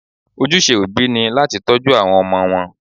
Ojúṣe òbí ni láti tọ́jú àwọn ọmọ wọn.